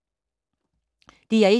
DR1